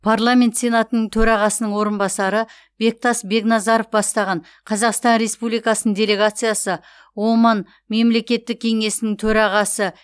парламент сенатының төрағасының орынбасары бектас бекназаров бастаған қазақстан республикасының делегациясы оман мемлекеттік кеңесінің төрағасы